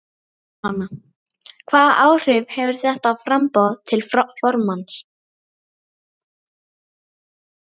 Jóhanna: Hvaða áhrif hefur þetta á framboð til formanns?